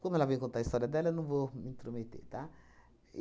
Como ela vem contar a história dela, eu não vou me intrometer, tá?